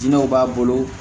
Diinɛw b'a bolo